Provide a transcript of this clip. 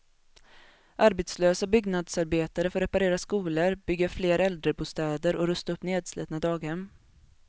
Arbetslösa byggnadsarbetare får reparera skolor, bygga fler äldrebostäder och rusta upp nedslitna daghem.